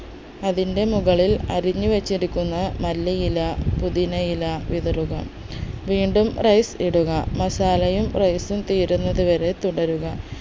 അതിന്റെ മുകളിൽ അരിഞ്ഞു വെച്ചിരിക്കുന്ന മല്ലിയില പുതിനയില വിതറുക വീണ്ടും rice ഇടുക masala യും rice ഉം തീരുന്നത് വരെ തുടരുക